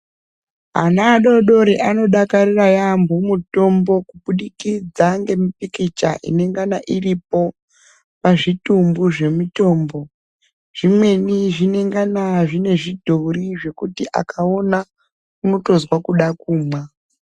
Ana adodori anodakarira yaampho mutombo kubudikidza ngemipikicha inengana iripo ,pazvitumbu zvemitombo. Zvimweni zvinengana zvine zvidhori zvekuti akaona, unotozwa kuda kumwa.